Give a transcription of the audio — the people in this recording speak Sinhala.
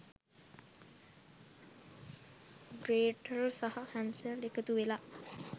ග්‍රේටල් සහ හැන්සල් එකතු වෙලා